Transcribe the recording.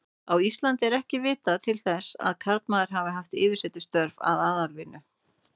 Á Íslandi er ekki vitað til þess að karlmaður hafi haft yfirsetustörf að aðalatvinnu.